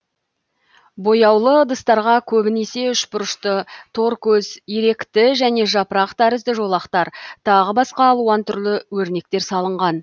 бояулы ыдыстарға көбінесе үшбұрышты торкөз иректі және жапырақ тәрізді жолақтар тағы басқа алуан түрлі өрнектер салынған